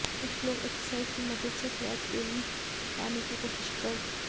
कुछ लोग एक्सरसाइज की मदद से फ्लैट बेली पाने की कोशिश कर र